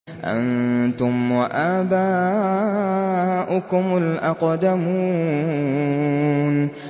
أَنتُمْ وَآبَاؤُكُمُ الْأَقْدَمُونَ